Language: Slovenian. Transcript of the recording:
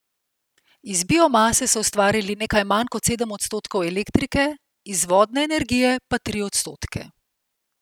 Iz biomase so ustvarili nekaj manj kot sedem odstotkov elektrike, iz vodne energije pa tri odstotke.